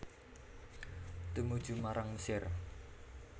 Tumuju marang Mesir